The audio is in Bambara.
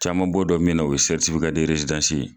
Caman bɔ dɔ min na o ye sɛritifika derezidansi ye